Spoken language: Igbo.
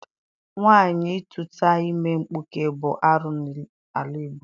Nwaanyị ịtụta ime nkpuke bụ arụ n'ala Igbo.